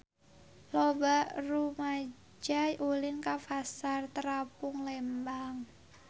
Loba rumaja ulin ka Pasar Terapung Lembang